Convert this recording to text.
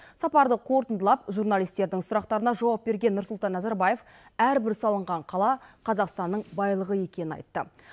сапарды қорытындылап журналистердің сұрақтарына жауап берген нұрсұлтан назарбаев әрбір салынған қала қазақстанның байлығы екенін айтты